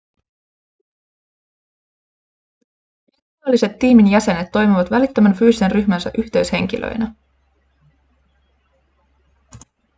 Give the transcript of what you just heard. virtuaaliset tiimin jäsenet toimivat välittömän fyysisen ryhmänsä yhteyshenkilöinä